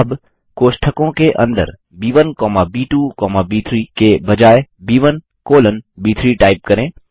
अब कोष्ठकों के अंदर ब1 कौमा ब2 कौमा ब3 के बजाय ब1 कॉलन ब3 टाइप करें